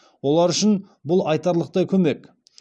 олар үшін бұл айтарлықтай көмек